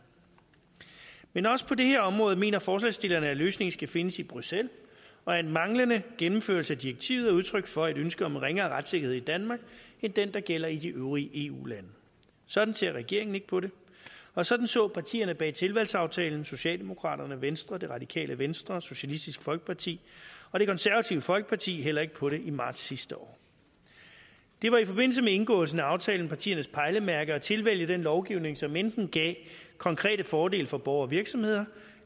men også på det her område mener forslagsstillerne at løsningen skal findes i bruxelles og at manglende gennemførelse af direktivet er udtryk for et ønske om ringere retssikkerhed i danmark end den der gælder i de øvrige eu lande sådan ser regeringen ikke på det og sådan så partierne bag tilvalgsaftalen socialdemokraterne venstre radikale venstre socialistisk folkeparti og det konservative folkeparti heller ikke på det i marts sidste år det var i forbindelse med indgåelsen af aftalen partiernes pejlemærke at tilvælge den lovgivning som enten gav konkrete fordele for borgere og virksomheder